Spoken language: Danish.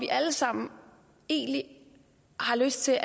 alle sammen har lyst til